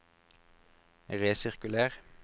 resirkuler